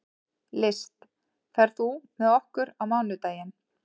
List, ferð þú með okkur á mánudaginn?